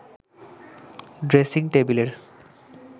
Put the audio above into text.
dressing টেবিলের